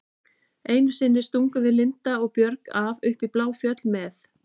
Einu sinni stungum við Linda og Björg af upp í Bláfjöll með